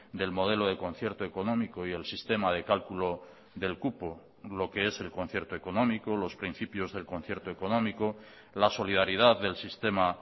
del modelo de concierto económico y el sistema de cálculo del cupo lo que es el concierto económico los principios del concierto económico la solidaridad del sistema